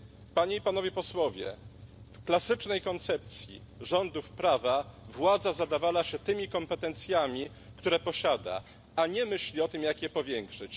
Panie i Panowie Posłowie, w klasycznej koncepcji rządów prawa władza zadawala się tymi kompetencjami, jakie posiada, a nie myśli o tym, jak je powiększyć.